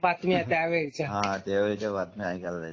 बातम्या त्यावेळी हा त्यावेळची बातमी ऐकायला जायचं